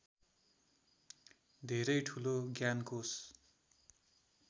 धेरै ठुलो ज्ञानकोष